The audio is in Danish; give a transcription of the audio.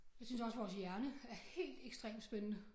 Jeg synes også vores hjerne er helt ekstremt spændende